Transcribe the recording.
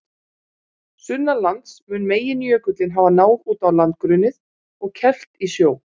Sunnanlands mun meginjökullinn hafa náð út á landgrunnið og kelft í sjó.